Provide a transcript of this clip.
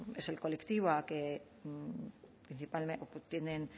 es el colectivo que